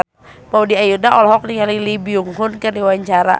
Maudy Ayunda olohok ningali Lee Byung Hun keur diwawancara